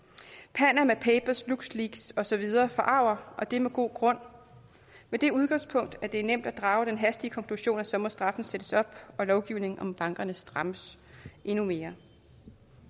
panama papers lux leaks og så videre forarger og det er med god grund med det udgangspunkt at det er nemt at drage den hastige konklusion at så må straffen sættes op og lovgivningen om bankerne strammes endnu mere